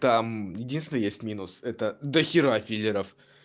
там единственный есть минус это дохера филлеров